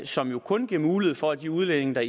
som jo kun giver mulighed for at de udlændinge der